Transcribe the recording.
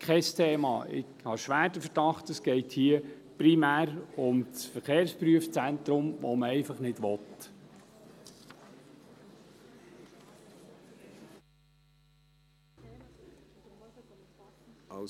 Ich habe schwer den Verdacht, es gehe hier primär um das Verkehrsprüfzentrum, das man einfach nicht will.